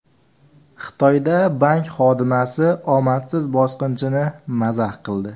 Xitoyda bank xodimasi omadsiz bosqinchini mazax qildi.